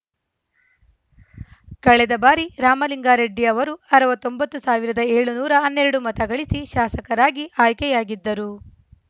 ಕಳೆದ ಬಾರಿ ರಾಮಲಿಂಗಾರೆಡ್ಡಿ ಅವರು ಅರವತ್ತ್ ಒಂಬತ್ತುಸಾವಿರದ ಏಳುನೂರ ಹನ್ನೆರಡು ಮತಗಳಿಸಿ ಶಾಸಕರಾಗಿ ಆಯ್ಕೆಯಾಗಿದ್ದರು